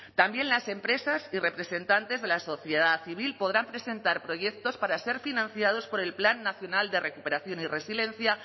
también las empresas y representantes de la sociedad civil podrán presentar proyectos para ser financiados por el plan nacional de recuperación y resiliencia